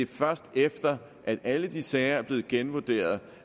først efter at alle de sager er blevet genvurderet